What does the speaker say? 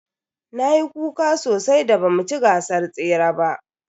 Nayi kuka sosai da ba mu ci gasar tsere ba.